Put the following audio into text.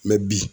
bi